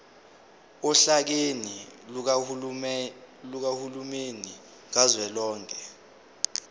ohlakeni lukahulumeni kazwelonke